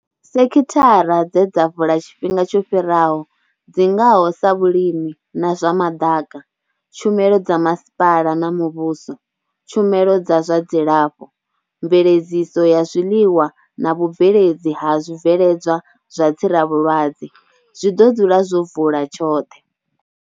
Sekhithara dze dza vula tshifhinga tsho fhiraho, dzi ngaho sa vhulimi na zwa maḓaka, tshumelo dza masipala na muvhuso, tshumelo dza zwa dzilafho, mveledziso ya zwiḽiwa na vhubveledzi ha zwibveledzwa zwa tsiravhulwadze, zwi ḓo dzula zwo vula tshoṱhe.